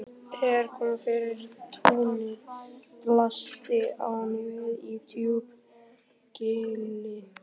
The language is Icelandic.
Þegar kom yfir túnið blasti áin við í djúpu gili.